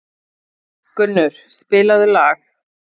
Gunnur, spilaðu lag.